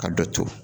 Ka dɔ to